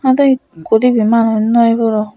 aha do ekko dibey manuj noi puro.